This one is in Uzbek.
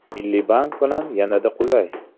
Milliy bank bilan yanada qulay!!!